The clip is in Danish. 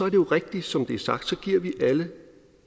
jo rigtigt som det er sagt at vi alle